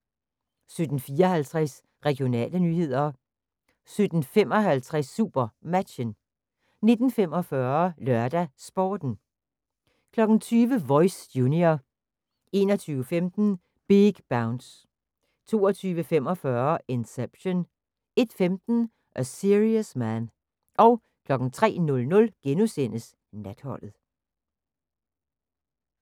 17:54: Regionale nyheder 17:55: SuperMatchen 19:45: LørdagsSporten 20:00: Voice – junior 21:15: Big Bounce 22:45: Inception 01:15: A Serious Man 03:00: Natholdet *